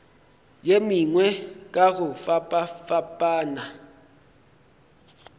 ye mengwe ka go fapafapana